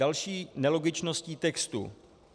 Další nelogičností textu.